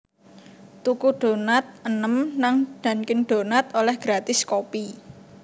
Tuku donat enem nang Dunkin' Donuts oleh gratis kopi